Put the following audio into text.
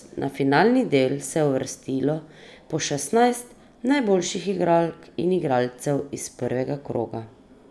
Na finalni del se je uvrstilo po šestnajst najboljših igralk in igralcev iz prvega kroga.